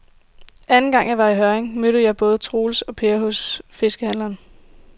Anden gang jeg var i Hjørring, mødte jeg både Troels og Per hos fiskehandlerne.